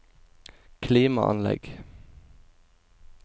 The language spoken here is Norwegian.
klimaanlegg